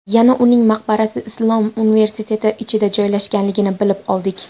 Yana uning maqbarasi Islom universiteti ichida joylashganligini bilib oldik.